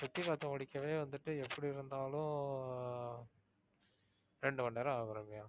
சுத்தி பாத்து முடிக்கவே வந்துட்டு எப்படி இருந்தாலும் அஹ் இரண்டு மணி நேரம் ஆகும் ரம்யா.